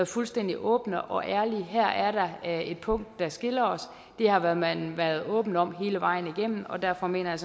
fuldstændig åbne og ærlige her er der et punkt der skiller os det har man været åbne om hele vejen igennem og derfor mener jeg